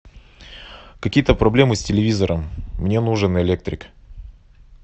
какие то проблемы с телевизором мне нужен электрик